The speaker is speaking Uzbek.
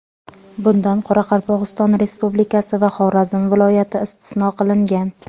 Bundan Qoraqalpog‘iston Respublikasi va Xorazm viloyati istisno qilingan.